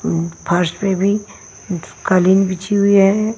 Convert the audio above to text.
अम्म फर्श पे भी कालीन बिछी हुई है।